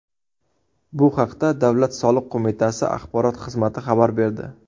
Bu haqda Davlat soliq qo‘mitasi axborot xizmati xabar berdi .